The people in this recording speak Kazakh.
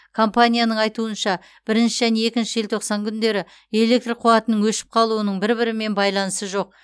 компанияның айтуынша бірінші және екінші желтоқсан күндері электр қуатының өшіп қалуының бір бірімен байланысы жоқ